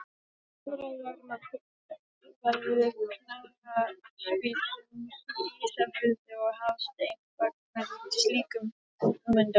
Umræða er um að byggt verði knattspyrnuhús á Ísafirði og Hafsteinn fagnar slíkum hugmyndum.